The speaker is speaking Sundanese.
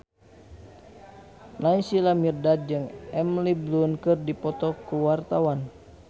Naysila Mirdad jeung Emily Blunt keur dipoto ku wartawan